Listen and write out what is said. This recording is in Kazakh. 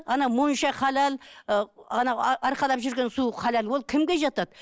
ана монша халал ы ана арқалап жүрген су халал ол кімге жатады